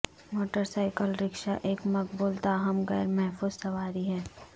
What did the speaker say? motorcycle rickshaw ایک مقبول تاہم غیر محفوظ سواری ہے